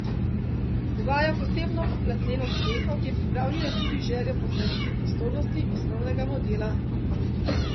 Uvaja posebno platneno streho, ki je pripravljena tudi z željo po ohranitvi prostornosti osnovnega modela.